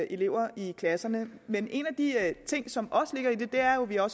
elever i klasserne men en af de ting som også ligger i det er jo at vi har